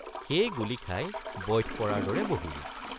সেই গুলী খাই বইঠ পৰাৰ দৰে বহিল।